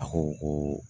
A ko ko